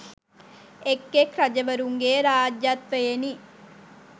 එක් එක් රජවරුන්ගේ රාජ්‍යත්වයෙනි.